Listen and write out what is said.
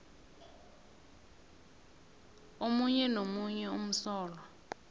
omunye nomunye umsolwa